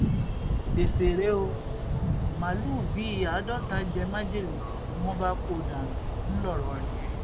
gbèsè rèé ó màálùú bíi àádọta jẹ májèlé ni wọn bá kú dànù ńlọrọrin